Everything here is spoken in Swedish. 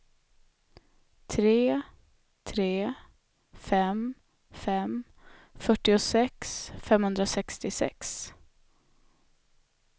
tre tre fem fem fyrtiosex femhundrasextiosex